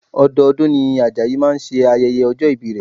Ọdọọdún ni Ajayi máa ṣe ayẹyẹ ọjọ́ ìbí rẹ̀